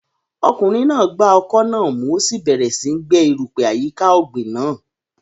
Ọkùnrin náà gba ọkọ́ náà mú, ó sì bẹ̀rẹ̀ síi gbẹ́ erùpẹ̀ àyíká ọ̀gbìn náà.